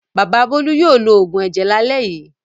Bàbá Bólú yóò lo òògùn ẹ̀jẹ̀ lálẹ́ yìí.